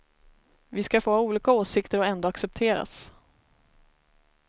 Vi ska få ha olika åsikter och ändå accepteras.